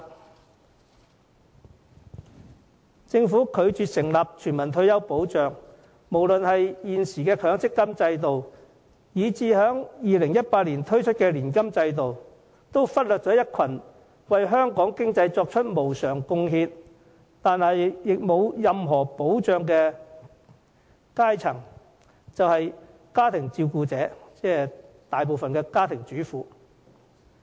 有鑒於政府拒絕成立全民退休保障，無論現時的強積金制度，還是2018年推出的年金制度，都忽略了一個對香港經濟作出無償貢獻，卻沒有任何退休保障的階層，那就是家庭照顧者，即大部分家庭主婦。